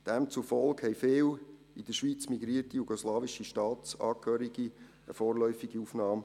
Demzufolge erhielten viele in die Schweiz migrierte jugoslawische Staatsangehörige eine vorläufige Aufnahme.